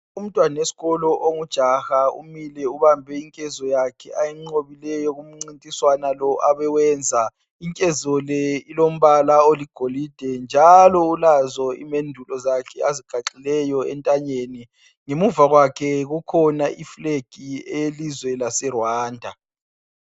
Umntwana wesikolo ongujaha umile ubambe inkezo, yakhe ayinqobileyo kumncintiswana lo abewenza inkezo le ilombala oligolide, njalo ulazo imendulo zakhe azigaxileyo entanyeni. Ngemuva kwakhe kukhona fulegi yelizwe laseRwanda.